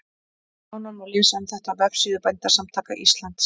Nánar má lesa um þetta á vefsíðu Bændasamtaka Íslands.